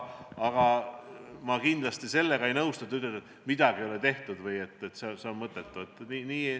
Aga ma kindlasti sellega ei nõustu, et te ütlete, et midagi ei ole tehtud või et tehtu on mõttetu.